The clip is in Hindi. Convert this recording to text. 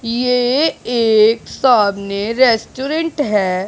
ये एक सामने रेस्टोरेंट है।